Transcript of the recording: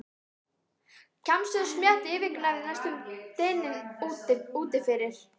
Kjamsið og smjattið yfirgnæfði næstum dyninn úti fyrir.